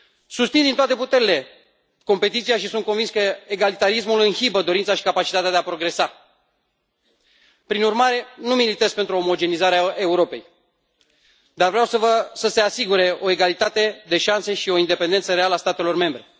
Susțin din toate puterile competiția și sunt convins că egalitarismul inhibă dorința și capacitatea de a progresa. Prin urmare, nu militez pentru omogenitatea Europei, dar vreau să se asigure o egalitate de șanse și o independență reală a statelor membre.